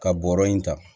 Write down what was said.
Ka bɔrɔ in ta